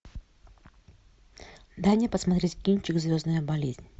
дай мне посмотреть кинчик звездная болезнь